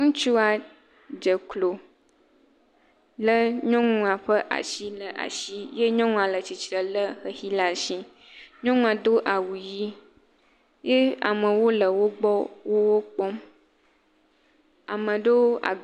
Ŋutsua dze klo lé nyɔnua ƒe asi le asi ye nyɔnua le tsitre lé xexi ɖe asi nyɔnua do awu ʋi ye amewo le wogbɔ wokpɔm.